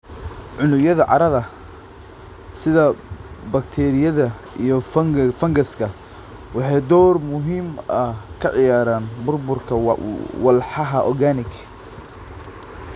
Unugyada carrada, sida bakteeriyada iyo fangaska, waxay door muhiim ah ka ciyaaraan burburka walxaha organic.